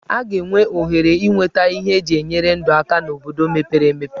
A ga-enwe ohere inweta ihe eji enyere ndụ aka n'obodo mepere emepe.